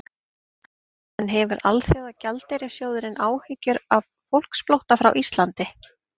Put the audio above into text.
En hefur Alþjóðagjaldeyrissjóðurinn áhyggjur af fólksflótta frá Íslandi?